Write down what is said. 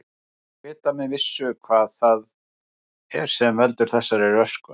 Ekki er vitað með vissu hvað það er sem veldur þessari röskun.